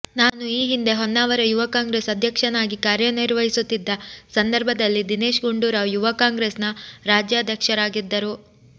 ನಾನು ಈ ಹಿಂದೆ ಹೊನ್ನಾವರ ಯುವ ಕಾಂಗ್ರೆಸ್ ಅದ್ಯಕ್ಷನಾಗಿ ಕಾರ್ಯನಿರ್ವಹಿಸುತ್ತಿದ್ದ ಸಂದರ್ಭದಲ್ಲಿ ದಿನೇಶ್ ಗುಂಡೂರಾವ್ ಯುವ ಕಾಂಗ್ರೆಸ್ನ ರಾಜ್ಯಾಧ್ಯಕ್ಷರಾಗಿದ್ದರು